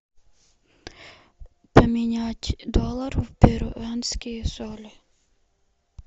поменять доллары в перуанские соли